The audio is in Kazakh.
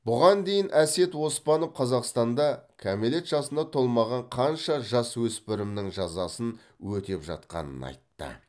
бұған дейін әсет оспанов қазақстанда кәмелет жасына толмаған қанша жасөспірімнің жазасын өтеп жатқанын айтты